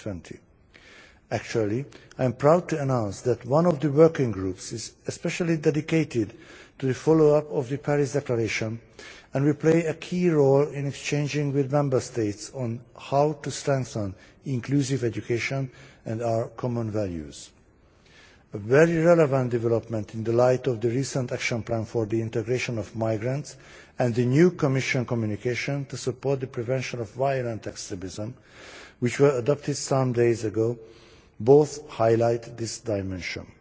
2020. I am proud to announce that one of the working groups is specially dedicated to the follow up of the Paris Declaration, and we play a key role in exchanging with Member States on how to strengthen inclusive education and our common values a very relevant development in the light of the recent action plan for the integration of migrants, and the new Commission communication to support the prevention of violent extremism, which were adopted some days ago, both highlighting this dimension.